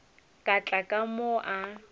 ka tla ka mo a